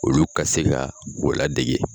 Olu ka se ka u ladege.